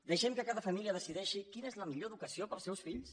deixem que cada família decideixi quina és la millor educació per als seus fills